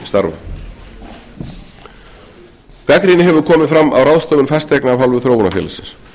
hátæknistarfa gagnrýni hefur komið fram á ráðstöfun fasteigna af hálfu þróunarfélagsins